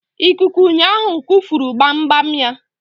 Ikuku ụnyaahụ kufuru gbamgbam ya.